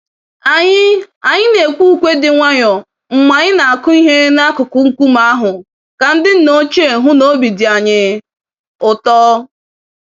Anyị Anyị nekwe ùkwè dị nwayọọ mgbe anyị na-akụ ihe n'akụkụ nkume ahụ ka ndị nna ochie hụ n'obi dị anyị ụtọ.